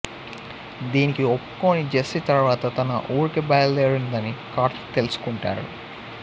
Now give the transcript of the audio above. దీనికి ఒప్పుకోని జెస్సీ తరువాత తన ఊరికి బయలుదేరిందని కార్తీక్ తెలుసుకుంటాడు